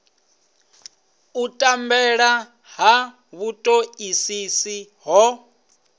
u tambela ha vhutoisisi ho